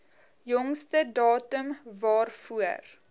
jongste datum waarvoor